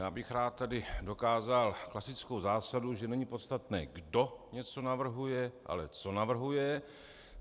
Já bych tady rád dokázal klasickou zásadu, že není podstatné, kdo něco navrhuje, ale co navrhuje.